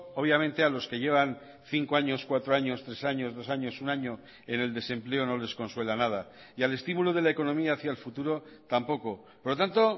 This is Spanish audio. obviamente a los que llevan cinco años cuatro años tres años dos años un año en el desempleo no les consuela nada y al estímulo de la economía hacia el futuro tampoco por lo tanto